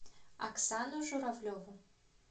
оксану журавлеву